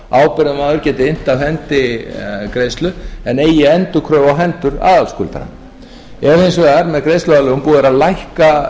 ábyrgðarmaður geti innt af hendi greiðslu en eigi endurkröfu á hendur aðalskuldara ef hins vegar með greiðsluaðlögun búið er að lækka